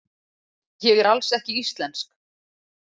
Ég er alls ekki íslensk.